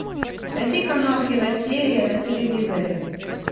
найди канал киносерия на телевизоре